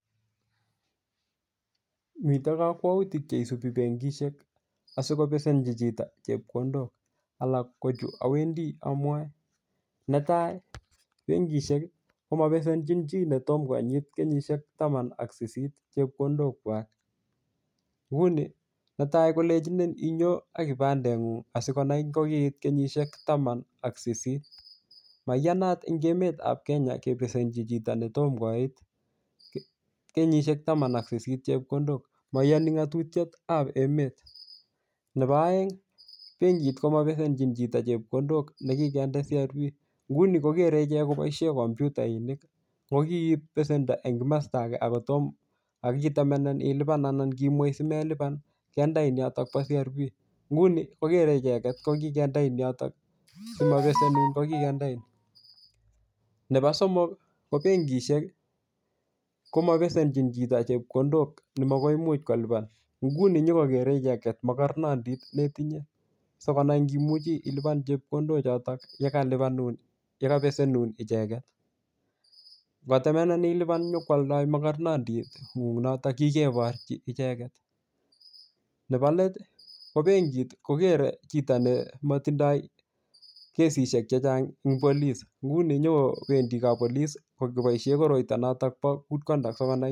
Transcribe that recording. mito kokwoutik cheisubi bengishek asikobesenchi chito chepkondok alak kochu owendi omwoe netaa bengishek komopesenchichii netom konyit taman ak sisit chepkondokwak nguni neta kolenchinin inyon akibandengung asikonai ngokit kenyishek taman ak sisit maiyanat en emetab kenya ngebesenchi chito netomkoit kenyishek taman ak sisit chepkondok moiyoni ngotutik kab emet nepo oengi bengit komopesenchi chito chepkondok nekikinde crb nguni kokere ichek koboishen komputainik ngokip pesendo en komosta ake akotom akitemen ilipan anan kiimwei simelipan kindei yoton bo crb nguni kokere icheket kokindein yotok komopesenun ngo kikindein nepo somok bengishek komopesenchin chito chepkondok nemokoimuch kolipan nguni nyokokere icheket mokornondit netinye sikonai ngimuchi ilipan chepkondok chotok yekalipanun yekopesenun icheket ngotemenenin nyokwoldo mokornondingung notok kikeborchi icheket nebo let ko bengit koker chito nemotindoi kesishek chechang eng' polis ngunon nyokopendi koboishen koroito notok bo kud kondukt sikonai